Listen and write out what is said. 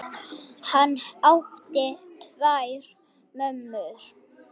Hann átti tvær mömmur.